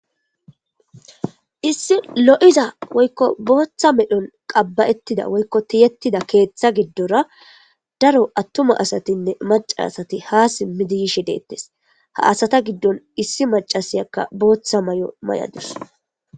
Issi lo'iza woykko Botta medhon qabbayetida woykko tiyetida keththa gidora daro atuma asatine macca asati ha simidi yishe de'etes ha asata gidon issi maccasiyaka botta mayo mayadus.